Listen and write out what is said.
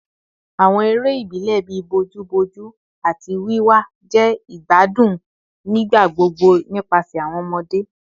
Awọn ere ibilẹ bii bojuboju ati wiwa jẹ igbadun nigbagbogbo nipasẹ awọn ọmọde